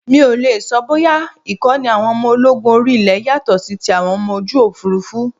Mi ò lè sọ bóyá Ìkọ́ni àwọn ọmọ ológun orí ilé yàtọ̀ sí ti àwọn ọmọ ojú Òfurufú.